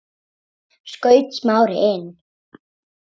skaut Smári inn í.